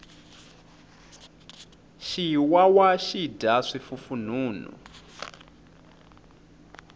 xiwawa xi dya swifufunhunhu